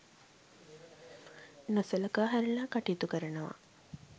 නොසලකා හැරලා කටයුතු කරනවා.